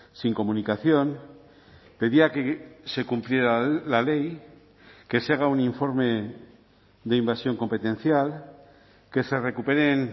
sin comunicación pedía que se cumpliera la ley que se haga un informe de invasión competencial que se recuperen